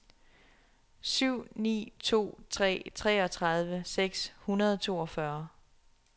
syv ni to tre treogtredive seks hundrede og toogfyrre